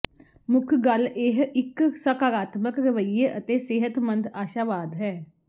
ਮੁੱਖ ਗੱਲ ਇਹ ਇੱਕ ਸਕਾਰਾਤਮਕ ਰਵਈਏ ਅਤੇ ਸਿਹਤਮੰਦ ਆਸ਼ਾਵਾਦ ਹੈ